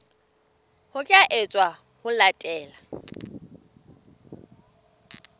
ho tla etswa ho latela